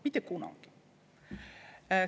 Mitte kunagi!